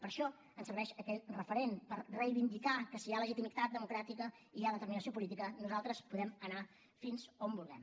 per això ens serveix aquell referent per reivindicar que si hi ha legitimitat democràtica i hi ha determinació política nosaltres podem anar fins on vulguem